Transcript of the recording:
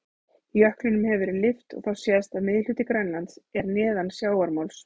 Jöklinum hefur verið lyft og þá sést að miðhluti Grænlands er neðan sjávarmáls.